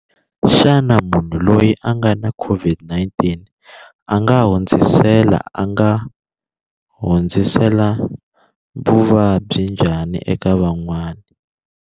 Xana munhu loyi a nga na COVID-19 a nga hundzisela a nga hundzisela vuvabyi njhani eka van'wana?